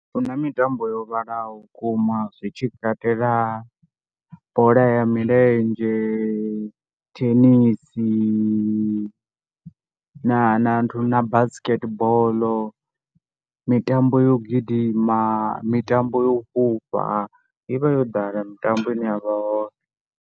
Hu na mitambo yo vhalaho vhukuma zwi tshi katela bola ya milenzhe, thenisi na na nthu na basketball, mitambo yo gidima, mitambo yo u fhufha i vha yo ḓala mitambo ine ya vha hone.